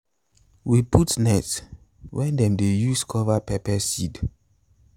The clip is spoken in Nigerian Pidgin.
we put net when them dey use cover pepper seed